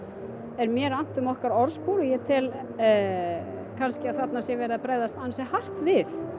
er mér annt um okkar orðspor og ég tel að þarna sé verið að bregðast ansi hart við